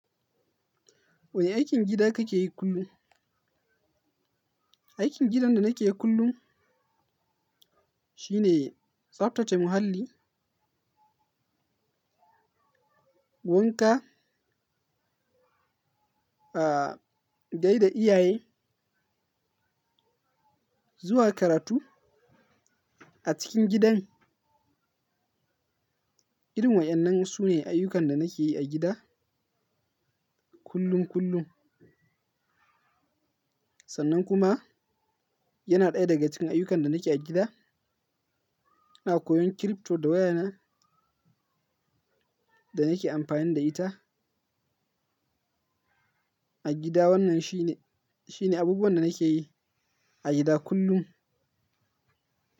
Wani aikin gida kake yi kullum? Aikin gidan da nake yi kullum shine tsaftace muhalli, wanka, gaida iyaye zuwa karatu a cikin gidan. Irin wa'innan sune ayyukan da nake yi a gida kullum kullum. Sannan kuma yana ɗaya daga cikin ayyukan da nake a gida. Ina koyon crypto da waya na da nake amfani da ita a gida. Wannan shine, shine abubuwan da nake yi a gida kullum.